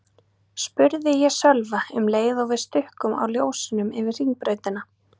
spurði ég Sölva um leið og við stukkum á ljósunum yfir Hringbrautina.